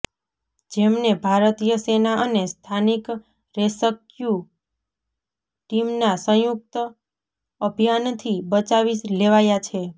જેમને ભારતીય સેના અને સ્થાનિક રેસ્ક્યૂ ટીમના સંયુક્ત અભિયાનથી બચાવી લેવાયા છે